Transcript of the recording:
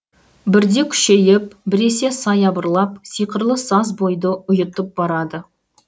бірде күшейіп біресе саябырлап сиқырлы саз бойды ұйытып барады